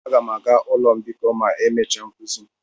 Aga m aga ụlọ mbikọ ma emechaa nkuzi.